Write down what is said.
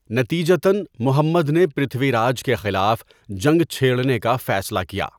نتیجتاََ، محمد نے پرتھوی راج کے خلاف جنگ چھیڑنے کا فیصلہ کیا۔